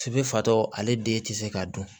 F'i bɛ fatɔ ale den tɛ se k'a dun